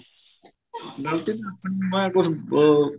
ਗਲਤੀ ਤਾਂ ਆਪਣੀ ਹੈ ਮੈਂ ਕਹੁ ਅਹ